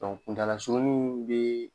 kuntaalasurunni n bee